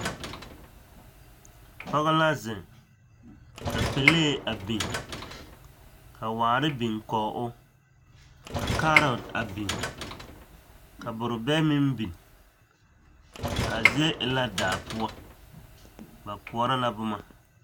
Pɔge la zeŋ ka pelee a biŋ, ka waare biŋ kɔge o, ka kaarɔte a biŋ, ka borobɛ meŋ biŋ, a zie e la daa poɔ, ba koɔrɔ la boma.